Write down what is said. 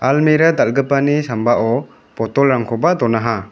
almera dal·gipani sambao botolrangkoba donaha.